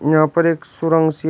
यहां पर एक सुरंग सी--